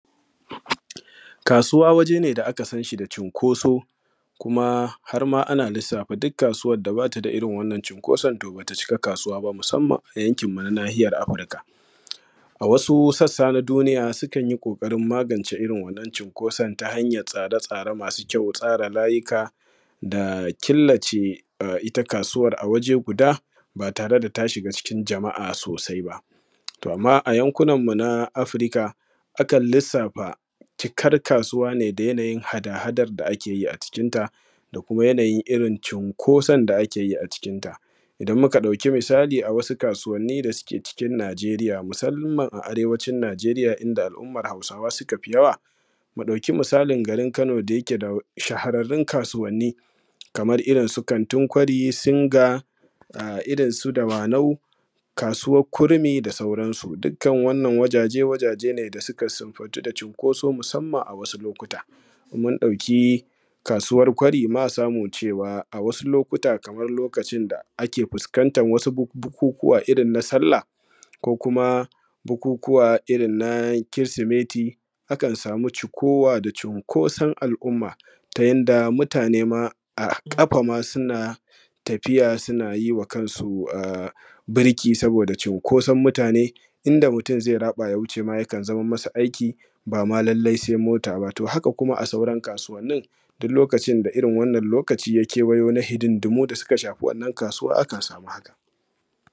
Kasuwa waje ne da aka sanshi da cinkoso, kuma har ana lissafa duk kasuwan da bata da irin wannan cinkoso to bata cika kasuwa ba musamman a yankin mu na nahiyar Afrika, a wasu sassa na duniya sukan yi kokarin magance irin wannan cinkoson ta hanyar tsare-tsare masu kyau, tsara layuka da killace ita kasuwan a waje guda ba tare da ta shiga cikin jama’a sosai ba, to amma a yankunan mu ta Afrika akan lissafa cikan kasuwa ne da yanayin hada-hada da ake yi a cikin ta kuma yanayin irin cinkoson da ake yi a cikin ta idan muka ɗauki misali a wasu kasuwanni da suke cikin Nigeriya musamman a Arewacin Nigeriya inda al’ummar Hausawa suka fi yawa, mu ɗauki misalin garin Kano da yake da shahararin kasuwanni kamar irinsu kantin ƙwari, singa irinsu dawanau, kasuwar kurmi da sauran su, dukkan wannan wazaje wazaje ne da suka sifantu da cinkoso musamman a wasu lokuta, mun ɗauki kasuwan ƙwari ma samu cewa a wasu lokuta kamar lokacin da ake fuskantar wasu ɓukukuwa irin na sallah ko kuma ɓukukuwa irin na kiristimeti akan samu cikuwa da cinkoson al’umma ta yadda mutane ma a kafa ma suna tafiya suna yi wa kansu ɓurki saboda cinkoson mutane inda mutum zai raɓa ya wuce yakan zama masa aiki bama lallai sai mota ba, to haka kuma a sauran kasuwanin duk lokacin da irin wannan lokaci ya kewayo na hidindimu da ya shafi wannan kasuwa akan samu haka.